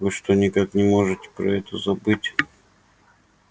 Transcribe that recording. вы что никак не можете про это забыть